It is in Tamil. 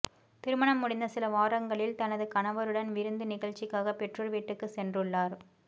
திருமணம் முடிந்த சில வாரங்களில் தனது கணவருடன் விருந்து நிகழ்ச்சிக்காக பெற்றோர் வீட்டுக்கு சென்றுள்ளார்